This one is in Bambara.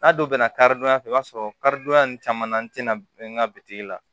N'a donna karidonya fɛ i b'a sɔrɔ karidonya nin caman na n tɛna bɛn n ka bitigi la